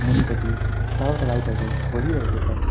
मुनिपटि चारवटा लाइट हरू बलिरहेको छ।